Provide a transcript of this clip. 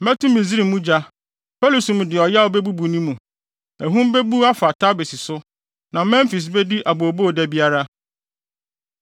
Mɛto Misraim mu gya; Pɛlusum de ɔyaw bebubu ne mu. Ahum bebu afa Tebes so; na Memfis bedi abooboo da biara.